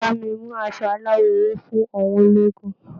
Bá mi mú aṣọ aláwọ̀ ewé fún àwọn ológun.